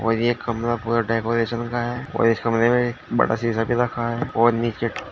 और ये कमरा पूरा डेकोरेशन का है और इस कमरे में बड़ा शीशा रखा है और नीचे--